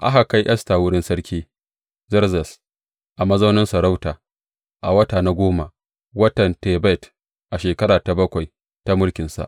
Aka kai Esta wurin Sarki Zerzes a mazaunin sarauta a wata na goma, watan Tebet, a shekara ta bakwai ta mulkinsa.